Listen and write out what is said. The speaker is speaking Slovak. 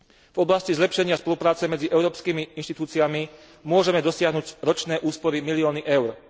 V oblasti zlepšenia spolupráce medzi európskymi inštitúciami môžeme dosiahnuť ročné úspory milióny eur.